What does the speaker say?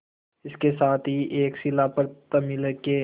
इसके साथ ही एक शिला पर तमिल के